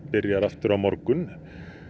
byrjar aftur á morgun